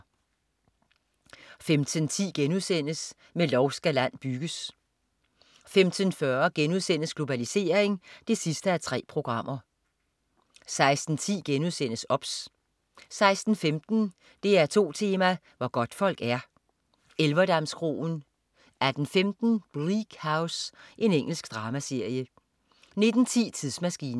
15.10 Med lov skal land bygges* 15.40 Globalisering 3:3* 16.10 OBS* 16.15 DR2 Tema: Hvor godtfolk er. Elverdamskroen 18.15 Bleak House. Engelsk dramaserie 19.10 Tidsmaskinen